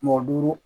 Mɔgɔ duuru